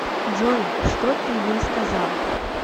джой что ты ей сказал